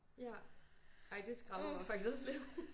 Ja ej det skræmmer mig faktisk lidt